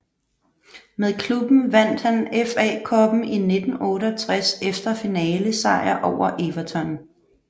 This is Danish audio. Med klubben vandt han FA Cuppen i 1968 efter finalesejr over Everton